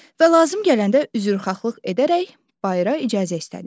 Və lazım gələndə üzrxahlıq edərək bayıra icazə istədim.